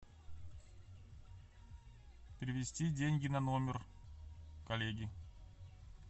перевести деньги на номер коллеги